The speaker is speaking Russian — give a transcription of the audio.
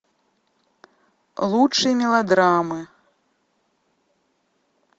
лучшие мелодрамы